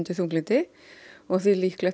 þunglyndi og þvílíkt